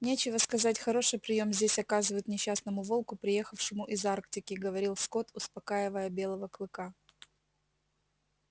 нечего сказать хороший приём здесь оказывают несчастному волку приехавшему из арктики говорил скотт успокаивая белого клыка